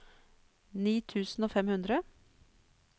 ni tusen og fem hundre